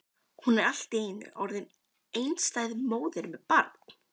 Hún er allt í einu orðin einstæð móðir með barn!